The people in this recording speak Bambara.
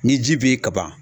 Ni ji bɛe ye ka ban